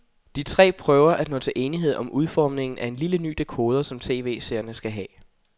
De tre prøver at nå til enighed om udformningen af en lille ny dekoder, som tv-seerne skal have.